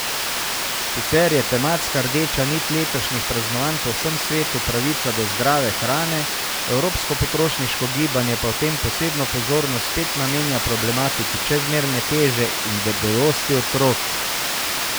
Sicer je tematska rdeča nit letošnjih praznovanj po vsem svetu pravica do zdrave hrane, evropsko potrošniško gibanje pa v tem posebno pozornost spet namenja problematiki čezmerne teže in debelosti otrok.